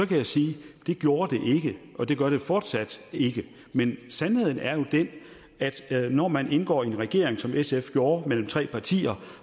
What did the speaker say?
kan sige at det gjorde det og det gør det fortsat ikke men sandheden er jo den at når man indgår i en regering som sf gjorde mellem tre partier